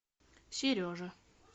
сережа